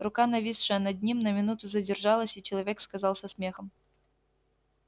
рука нависшая над ним на минуту задержалась и человек сказал со смехом